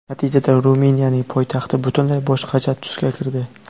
Natijada Ruminiyaning poytaxti butunlay boshqacha tusga kirdi.